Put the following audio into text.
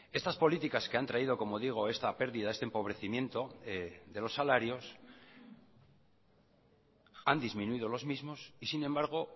estas políticas que han traído como digo esta pérdida este empobrecimiento de los salarios han disminuido los mismos y sin embargo